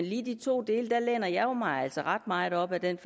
lige de to dele læner jeg mig altså ret meget op ad den